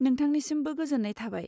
नोंथांनिसिमबो गोजोन्नाय थाबाय।